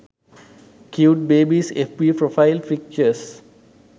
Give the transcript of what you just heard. cute babys fb profile pictures